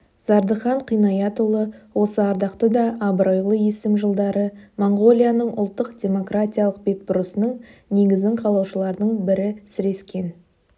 зардыхан қинаятұлы осы ардақты да абыройлы есім жылдары моңғолияның ұлттық демократиялық бетбұрысының негізін қалаушылардың бірі сірескен